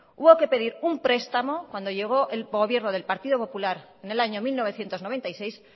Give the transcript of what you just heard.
hubo que pedir un prestamo cuando llegó el gobierno del partido popular en el año mil novecientos noventa y seis